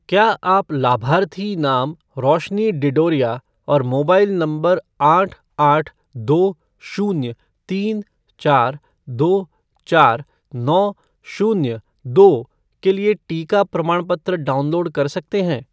क्या आप लाभार्थी नाम रोशनी डिडोरिया और मोबाइल नंबर आठ आठ दो शून्य तीन चार दो चार नौ शून्य दो के लिए टीका प्रमाणपत्र डाउनलोड कर सकते हैं?